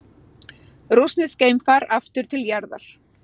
Rússneskt geimfar aftur til jarðar